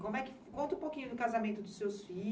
Como é que... Conta um pouquinho do casamento dos seus filhos.